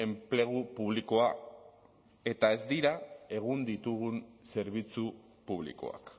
enplegu publikoa eta ez dira egun ditugun zerbitzu publikoak